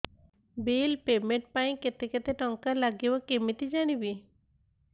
bill payment ପାଇଁ କେତେ କେତେ ଟଙ୍କା ଲାଗିବ କେମିତି ଜାଣିବି